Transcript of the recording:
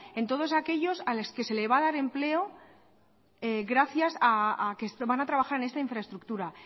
en todos aquellos a las que se les va a dar empleo gracias a que van a trabajar en esta infraestructura